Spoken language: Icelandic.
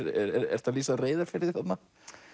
ertu að lýsa Reyðarfirði þarna